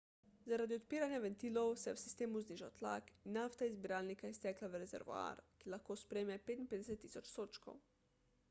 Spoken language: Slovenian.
zaradi odpiranja ventilov se je v sistemu znižal tlak in nafta je iz zbiralnika iztekla v rezervoar ki lahko sprejme 55.000 sodčkov 2,3 milijona galon